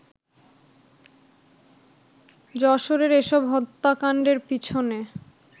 যশোরের এসব হত্যাকাণ্ডের পিছনে